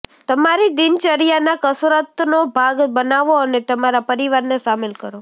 તમારી દિનચર્યાના કસરતનો ભાગ બનાવો અને તમારા પરિવારને સામેલ કરો